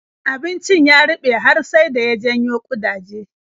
Abincin ya ruɓe har sai da ya janyo ƙudaje.